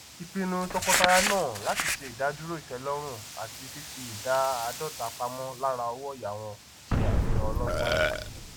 ìpinnu tọkọtaya náà láti ṣe ìdadúró ìtẹlọrun àti fífi ìdá áàdọta pamọ lára owóòyà wọn se àfihàn ọlọgbọn